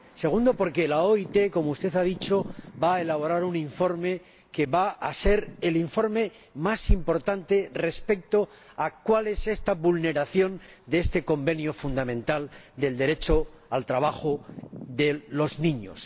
Segundo, porque la OIT, como usted ha dicho, va a elaborar un informe que va a ser el informe más importante respecto a cuál es esta vulneración de este Convenio fundamental del derecho al trabajo de los niños.